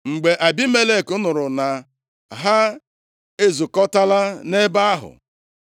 Mgbe Abimelek nụrụ na ha ezukọtala nʼebe ahụ,